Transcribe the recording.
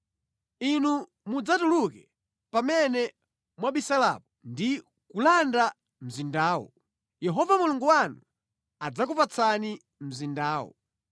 inu mudzatuluke pamene mwabisalapo ndi kulanda mzindawo. Yehova Mulungu wanu adzakupatsani mzindawo.